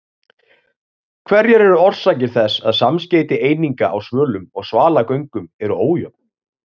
Hverjar eru orsakir þess að samskeyti eininga á svölum og svalagöngum eru ójöfn?